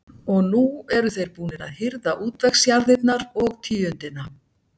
Og nú eru þeir búnir að hirða útvegsjarðirnar og tíundina.